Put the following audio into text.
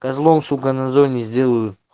козлом сука на зоне сделают